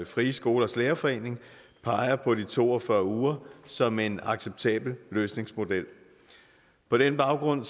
frie skolers lærerforening peger på de to og fyrre uger som en acceptabel løsningsmodel på den baggrund